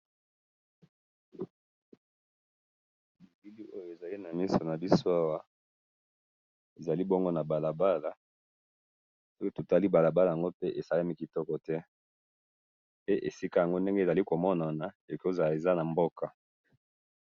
Elili oyo ezali namiso nabiso awa, ezali bongo nabalabala, pe totali balabala yango pe esalemi kitoko te, pe esika yango ndenge ezali komonana, ekozala eza namboka